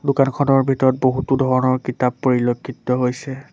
দোকানখনৰ ভিতৰত বহুতো ধৰণৰ কিতাপ পৰিলেক্ষিত হৈছে।